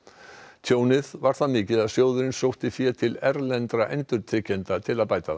tjónið var það mikið að sjóðurinn sótti fé til erlendra endurtryggjenda til að bæta það